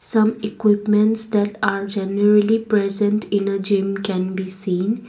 some equipments that are generally present in a gym can be seen.